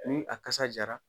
ni a kasa jara